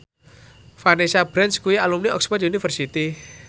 Vanessa Branch kuwi alumni Oxford university